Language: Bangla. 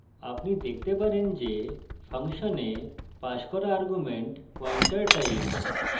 আপনি দেখতে পারেন যে ফাংশনে passed করা arguments পয়েন্টার type